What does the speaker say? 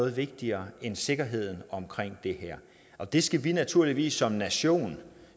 er vigtigere end sikkerheden om det her og det skal vi naturligvis som nation